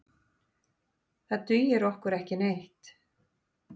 Það dugir okkur ekki neitt.